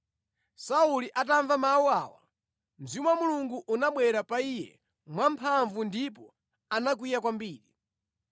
Sauli atamva mawu awo, Mzimu wa Mulungu unabwera pa iye mwa mphamvu ndipo anakwiya kwambiri.